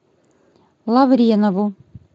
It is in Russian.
лавренову